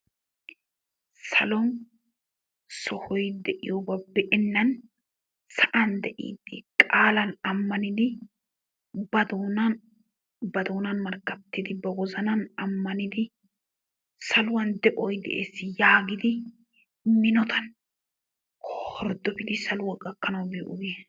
Salon sohoy de'iyoogaa be'ennan sa'an de'iidi qaalan ammanidi ba doonan ba doonan markkatidi ba wozanan ammanidi saluwan de'oy de'ees yaagidi minotan hordofiidi saluwa gakkanwu biyoosha,